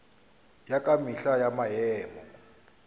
ya ka mehla ya maemo